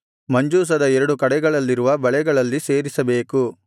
ಮಂಜೂಷದ ಎರಡು ಕಡೆಗಳಲ್ಲಿರುವ ಬಳೆಗಳಲ್ಲಿ ಸೇರಿಸಬೇಕು